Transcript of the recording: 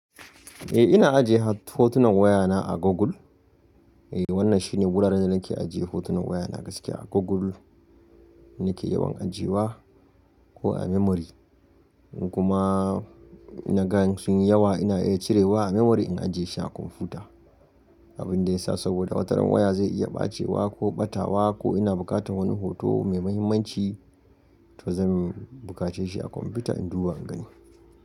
Eh ina ajiye hotunan wayana a Google. Eh wannan shine wuraren da nake ajiye hotunan wayana gaskiya. Google nake yawan ajiyewa ko a memory. In kuma na ga sunyi yawa ina iya cirewa a memory in ajiye shi a kwamfuta. Abin da ya sa saboda wataran waya zai iya ɓacewa ko ɓatawa ko ina buƙatar wani hoto mai mahimmanci to zan bukace shi a kwamfuta in duba in gani.